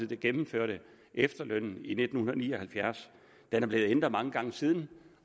der gennemførte efterlønnen i nitten ni og halvfjerds den er blevet ændret mange gange siden